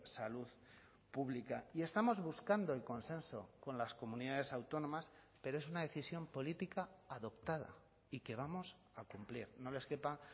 salud pública y estamos buscando el consenso con las comunidades autónomas pero es una decisión política adoptada y que vamos a cumplir no les quepa